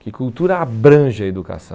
Que cultura abrange a educação.